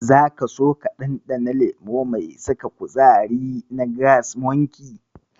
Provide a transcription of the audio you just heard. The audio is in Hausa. Zaka so ka ɗanɗana lemo mai saka kuzari na Gas Monkey?